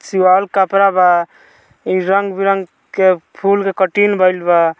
सिवावल कपड़ा बा रंग-बिरंग के फूल के कटिं भइल बा।